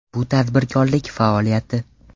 Bu tadbirkorlik faoliyati.